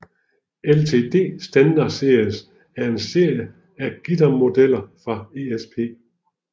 LTD Standard Series er en serie af guitarmodeller fra ESP